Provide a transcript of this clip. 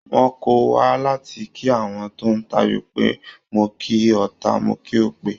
Wọ́n kọ́ wa láti kí àwọn tó ń tayò pé "mo kí ọta, mo kí òpè".